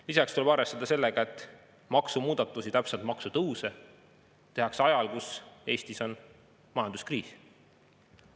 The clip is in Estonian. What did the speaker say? Lisaks tuleb arvestada sellega, et maksumuudatusi, täpsemalt maksutõuse tehakse ajal, kui Eestis on majanduskriis.